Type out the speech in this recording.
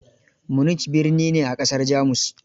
Munich birni ne a ƙasar Jamus.